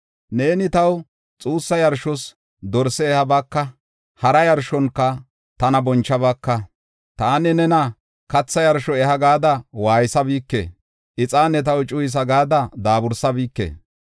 Neeni taw xuussa yarshos dorse ehabaaka; hara yarshonka tana bonchabaaka. Taani nena katha yarsho eha gada waaysabike; ixaane taw cuyiso gada daabursabike.